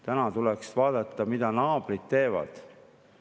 Täna tuleks vaadata, mida naabrid teevad.